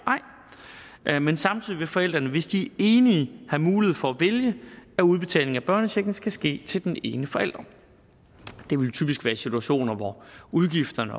ej men samtidig vil forældrene hvis de er enige have mulighed for at vælge at udbetalingen af børnechecken skal ske til den ene forælder det vil typisk være i situationer hvor udgifterne